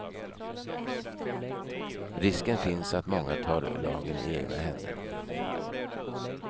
Risken finns att många tar lagen i egna händer.